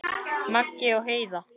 Maggi og Heiða.